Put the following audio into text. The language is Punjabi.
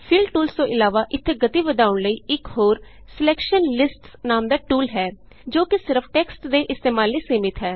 ਫਿਲ ਟੂਲਸ ਤੋਂ ਇਲਾਵਾ ਇਥੇ ਗਤੀ ਵਧਾਉਣ ਲਈ ਇਕ ਹੋਰ ਸਿਲੈਕਸ਼ਨ listsਨਾਮ ਦਾ ਟੂਲ ਹੈ ਜੋ ਕਿ ਸਿਰਫ ਟੈਕਸਟ ਦੇ ਇਸਤੇਮਾਲ ਲਈ ਸੀਮਿਤ ਹੈ